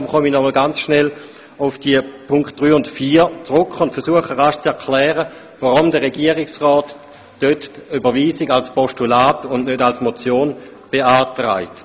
Deshalb komme ich nochmals kurz auf diese Punkte zurück und versuche zu erklären, weshalb der Regierungsrat dort die Überweisung als Postulat und nicht als Motion beantragt.